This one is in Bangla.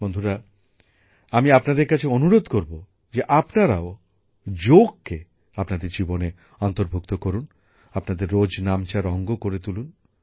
বন্ধুরা আমি আপনাদের কাছে অনুরোধ করবো যে আপনারাও যোগকে আপনাদের জীবনে অন্তর্ভুক্ত করুন আপনাদের রোজনামচার অঙ্গ করে তুলুন